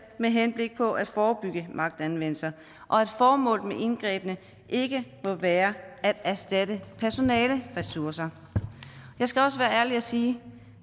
med henblik på at forebygge magtanvendelse og at formålet med indgrebene ikke må være at erstatte personaleressourcer jeg skal være ærlig og sige